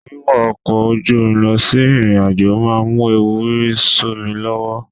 Wíwọ ọkọ̀ ojú omi lọ sí ìrìnàjò máa mú ewu rírì sómi lọ́wọ́.